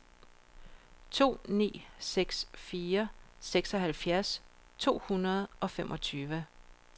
to ni seks fire seksoghalvfjerds to hundrede og femogtyve